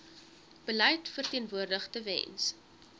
beleid verteenwoordig tewens